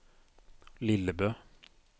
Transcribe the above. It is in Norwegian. Lillebø